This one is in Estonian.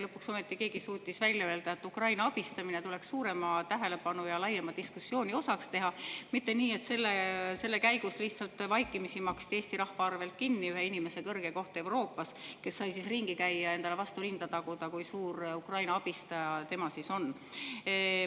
Lõpuks ometi suutis keegi välja öelda, et Ukraina abistamine peaks saama suuremat tähelepanu ja see tuleks teha laiema diskussiooni osaks, mitte nii, et selle käigus lihtsalt maksti Eesti rahva arvelt vaikimisi kinni ühe inimese kõrge koht Euroopas, kes sai ringi käia ja endale vastu rinda taguda, kui suur Ukraina abistaja tema on.